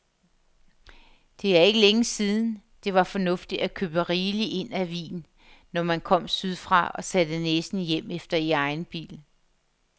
Det er ikke længe siden, det var fornuftigt at købe rigeligt ind af vin, når man kom sydfra og satte næsen hjemefter i egen bil.